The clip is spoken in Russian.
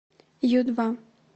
ю два